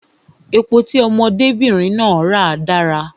Epo tí ọmọdé bìnrin náà ra dára